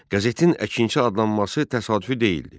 Qəzetin Əkinçi adlanması təsadüfi deyildi.